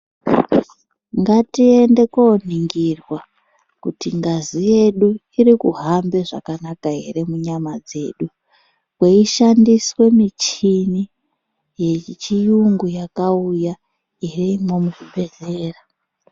Ngatiende koningirwa kuti ngazi yedu irikuhambe zvakanaka here munyama dzedu kweishandiswe michini yechiyungu yakauya irimwo muzvibhedhlera .